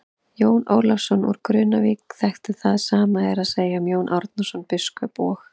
Jón Ólafsson úr Grunnavík þekkti það, sama er að segja um Jón Árnason biskup og.